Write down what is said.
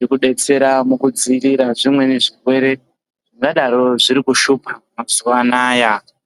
yekudetsera mukudzivirira zvimweni zvirwere zvingadaro Zviri kushupa mazuwa anaya.